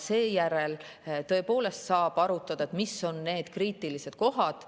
Seejärel saab tõepoolest arutada, mis on need kriitilised kohad.